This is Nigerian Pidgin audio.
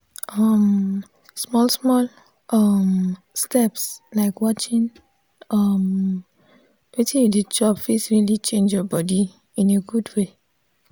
um small small um steps like watchin um wetin you dey chop fit really change your bodi in a good way.